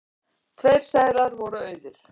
Tveir seðlar voru auðir.